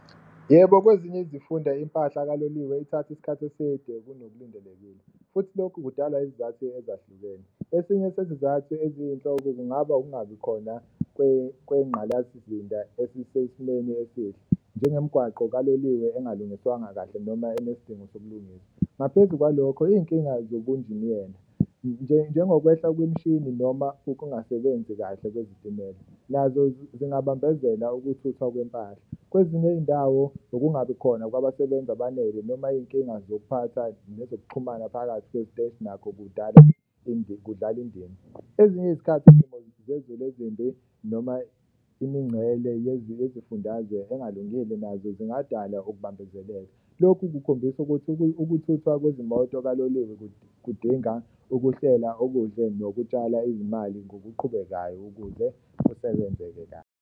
Yebo, kwezinye izifunda impahla kaloliwe ithatha isikhathi eside kunokulindelekile futhi lokhu kudalwa izizathu ezahlukene, esinye sezizathu eziyinhloko kungaba ukungabikhona kwengqalasizinda esisesimeni esihle njengomgwaqo kaloliwe engalungiswanga kahle noma onesidingo sokulungiswa. Ngaphezu kwalokho iy'nkinga zobunjiniyela njengokwehla kwemishini noma ukungasebenzi kahle kwezitimela, nazo zingabambezela ukuthuthwa kwempahla. Kwezinye iy'ndawo ukungabi khona kwabasebenzi abanele noma iy'nkinga zokuphatha nezokuxhumana phakathi kwey'teshi nakho kudala kudlala indima. Ezinye izikhathi izimo zezulu ezimbi noma imincele yezifundazwe engalungile nazo zingadala ukubambezeleka. Loku kukhombisa ukuthi ukuthuthwa kwezimoto kaloliwe kudinga ukuhlela okuhle nokutshala izimali ngokuqhubekayo ukuze kusebenzeke .